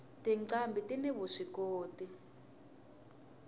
tinqambhi tini vuswikoti